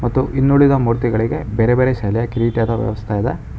ಮತ್ತು ಇನ್ನುಳಿದ ಮೂರ್ತಿಗಳಿಗೆ ಬೇರೆ ಬೇರೆ ಶಲೆ ಕಿರೀಟದ ವ್ಯವಸ್ಥೆ ಇದೆ.